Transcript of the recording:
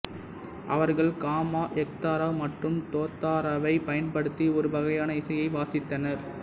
அவர்கள் காமக் எக்தாரா மற்றும் தோத்தாராவைப் பயன்படுத்தி ஒரு வகையான இசையை வாசித்தனர்